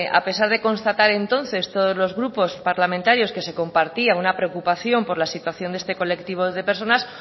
a pesar de constatar entonces todos los grupos parlamentarios que se compartía una preocupación por la situación de este colectivo de personas